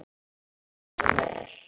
Gjörðu svo vel.